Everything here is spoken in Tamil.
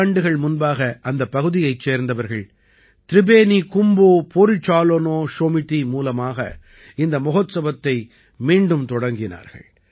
ஈராண்டுகள் முன்பாக அந்தப் பகுதியைச் சேர்ந்தவர்கள் திரிபேனி கும்போ பொரிசாலோனா ஷொமிதி மூலமாக இந்த மகோத்ச்வத்தை மீண்டும் தொடங்கினார்கள்